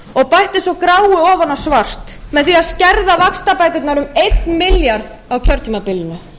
og bætti svo gráu ofan á svart með því að skerða vaxtabæturnar um einn milljarð á kjörtímabilinu